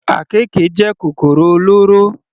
Àkekè jẹ́ kòkòrò olóró.